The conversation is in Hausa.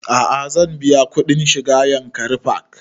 A'a zan biya kuɗin shiga yankari park